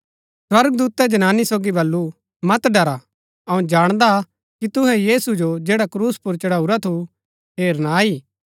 स्वर्गदूतै जनानी सोगी बल्लू मत ड़रा अऊँ जाणदा कि तुहै यीशु जो जैडा क्रूस पुर चढाऊरा थु हेरना आई